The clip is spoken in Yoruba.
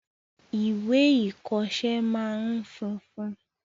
Ìwé ìkoọsẹ́ máa n funfun